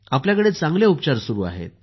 आपल्याकडे चांगले उपचार सुरू आहेत